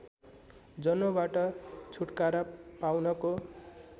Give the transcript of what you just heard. जन्मबाट छुटकारा पाउनको